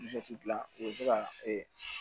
dilan o bɛ se ka e